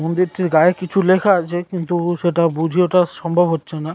মন্দিরটির গায়ে কিছু লেখা আছে কিন্তু-উ সেটা বুঝে ওঠা সম্ভব হচ্ছে না।